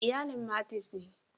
Iyalin Martins ne.